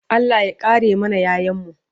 Allah ya kare mana ƴaƴanmu